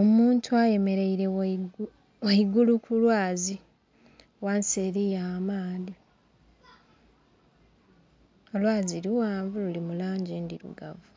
Omuntu ayemeleile ghaigulu ku lwazi ghansi eliyo amaadhi. Olwazi lughanvu luli mu langi endhilugavu